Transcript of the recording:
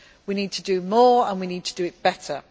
We need to do more and we need to do it better.